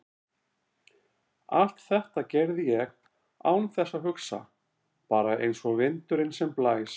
Allt þetta gerði ég án þess að hugsa, bara einsog vindurinn sem blæs.